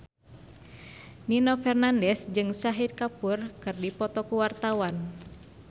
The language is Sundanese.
Nino Fernandez jeung Shahid Kapoor keur dipoto ku wartawan